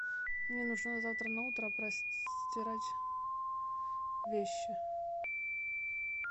мне нужно завтра на утро простирать вещи